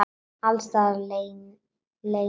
Alls staðar leynast hættur.